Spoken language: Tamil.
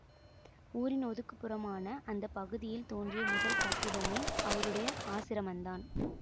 ஊரின் ஒதுக்குப் புறமான அந்த பகுதியில் தோன்றிய முதல் கட்டிடமே அவருடைய ஆசிரமந்தான்